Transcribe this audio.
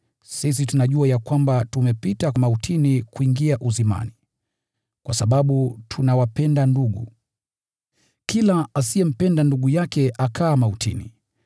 Sisi tunajua ya kwamba tumepita mautini kuingia uzimani, kwa sababu tunawapenda ndugu. Kila asiyempenda ndugu yake akaa mautini.